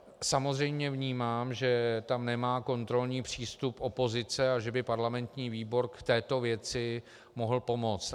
Samozřejmě vnímám, že tam nemá kontrolní přístup opozice a že by parlamentní výbor k této věci mohl pomoct.